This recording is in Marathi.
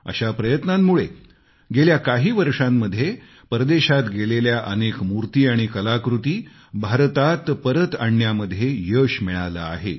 अशा प्रयत्नांमुळे गेल्या काही वर्षांमध्ये परदेशात गेलेल्या अनेक मूर्ती आणि कलाकृती भारतात परत आणण्यामध्ये यश मिळालंय